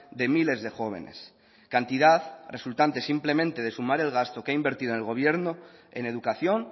de miles de jóvenes cantidad resultante simplemente de sumar el gasto que ha invertido el gobierno en educación